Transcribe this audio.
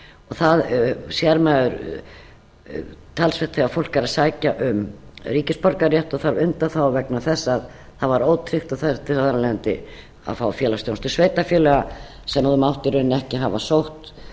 það sér maður talsvert þegar fólk er að sækja um ríkisborgararétt og þarf undanþágu vegna þess að það var ótryggt og þurfti þar af leiðandi að fá félagsþjónustu sveitarfélaga sem það mátti í rauninni ekki hafa sótt